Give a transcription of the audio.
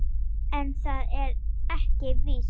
En það er ekki víst.